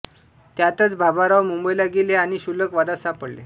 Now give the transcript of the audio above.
त्यातच बाबाराव मुंबईला गेले आणि क्षुल्लक वादात सापडले